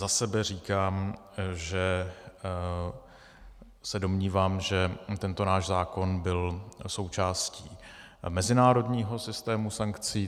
Za sebe říkám, že se domnívám, že tento náš zákon byl součástí mezinárodního systému sankcí.